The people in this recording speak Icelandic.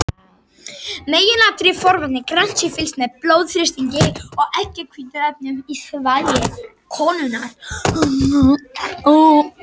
Meginatriði forvarna er að grannt sé fylgst með blóðþrýstingi og eggjahvítuefnum í þvagi konunnar.